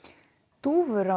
dúfur á